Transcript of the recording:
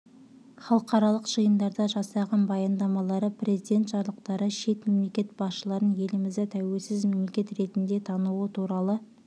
халықаралық жиындарда жасаған баяндамалары президент жарлықтары шет мемлекет басшыларының елімізді тәуелсіз мемлекет ретінде тануы туралы